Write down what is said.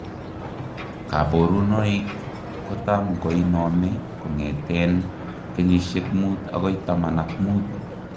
Kaborunoik kotam koinome kongeteen kenyisiek muut akoi taman ak muut